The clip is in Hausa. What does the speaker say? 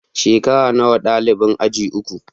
Shekara nawa dalibin aji uku?